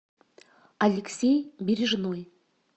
алексей бережной